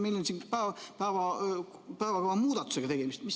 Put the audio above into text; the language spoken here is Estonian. Meil siin on päevakava muudatusega tegemist.